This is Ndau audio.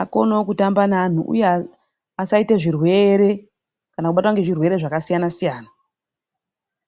Akonewo kutamba naantu. Asaita zvirwere kana kubatwa ngezvirwere zvakasiyana siyana.